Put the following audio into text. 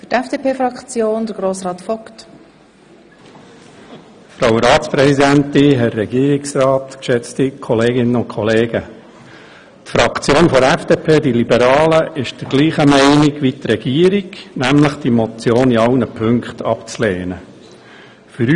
Die FDPFraktion ist derselben Meinung wie die Regierung, nämlich dass die Motion in allen Punkten abzulehnen sei.